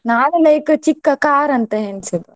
ನಾನು like ಚಿಕ್ಕ car ಅಂತ ಎಣಿಸಿದ್ದು.